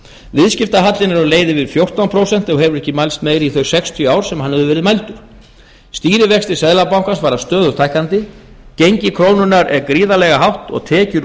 viðskiptahallinn er á leið yfir í fjórtán prósent og hefur ekki mælst meiri í þau sextíu ár sem hann hefur verið mældur stýrivextir seðlabankans fara stöðugt hækkandi gengi krónunnar er gríðarlega hátt og tekjur